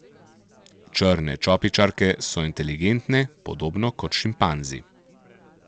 Črne čopičarke so inteligentne, podobno kot šimpanzi.